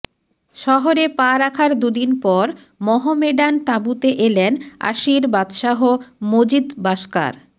শহরে পা রাখার দুদিন পর মহমেডান তাঁবুতে এলেন আশির বাদশাহ মজিদ বাসকার